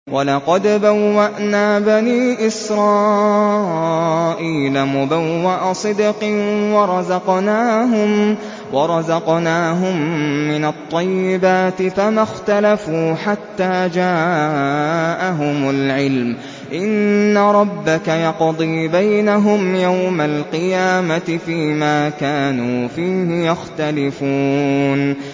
وَلَقَدْ بَوَّأْنَا بَنِي إِسْرَائِيلَ مُبَوَّأَ صِدْقٍ وَرَزَقْنَاهُم مِّنَ الطَّيِّبَاتِ فَمَا اخْتَلَفُوا حَتَّىٰ جَاءَهُمُ الْعِلْمُ ۚ إِنَّ رَبَّكَ يَقْضِي بَيْنَهُمْ يَوْمَ الْقِيَامَةِ فِيمَا كَانُوا فِيهِ يَخْتَلِفُونَ